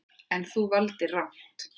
En, þú valdir rangt.